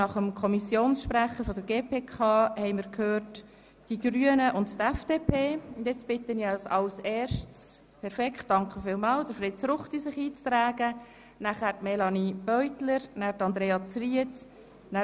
Ich bitte diejenigen Fraktionen, die gestern bereits eingetragen waren, sich noch einmal anzumelden.